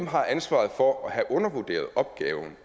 har ansvaret for at have undervurderet opgaven